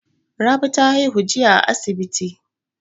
Rabi ta haihu jiya a asibi.